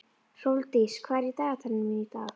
Hrólfdís, hvað er í dagatalinu mínu í dag?